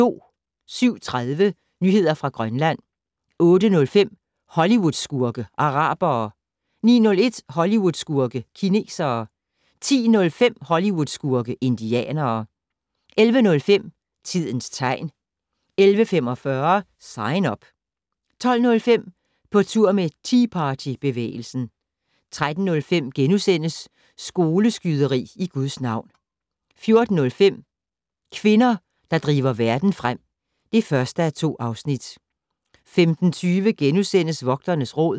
07:30: Nyheder fra Grønland 08:05: Hollywood-skurke: Arabere 09:01: Hollywood-skurke: Kinesere 10:05: Hollywood-skurke: Indianere 11:05: Tidens tegn 11:45: Sign Up 12:05: På tur med Tea Party-bevægelsen 13:05: Skoleskyderi i Guds navn * 14:05: Kvinder, der driver verden frem (1:2) 15:20: Vogternes Råd *